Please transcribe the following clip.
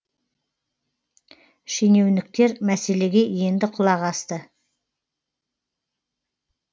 шенеуніктер мәселеге енді құлақ асты